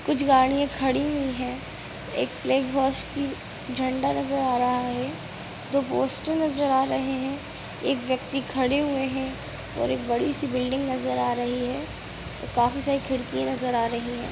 कुछ गाड़िया खड़ी हुई है| एक की झंडा नजर आ रहा है| दो पोस्टर नजर आ रहे है| एक व्यक्ति खड़े हुए है| और एक बड़ी सी बिल्डिंग नजर आ रही है और काफी सारी खिड़किया नजर आ रही है।